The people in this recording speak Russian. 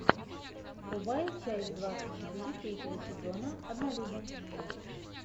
врубай часть двадцать четыре третьего сезона однолюбы